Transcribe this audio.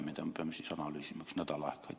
Nii et me peame seda kõike veel analüüsima umbes nädal aega.